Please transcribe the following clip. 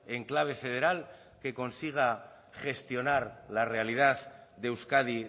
en clave federal que consiga gestionar la realidad de euskadi